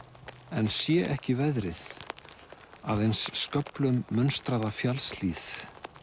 en sé ekki veðrið aðeins sköflum fjallshlíð